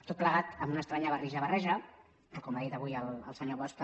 tot plegat amb una estranya barrija barreja que com ha dit avui el senyor bosch també